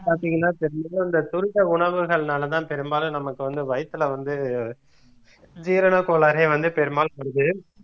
பாத்தீங்கன்னா இந்த துரித உணவுகள்னாலதான் பெரும்பாலும் நமக்கு வந்து வயித்துல வந்து ஜீரணக் கோளாறே வந்து பெரும்பாலும் வருது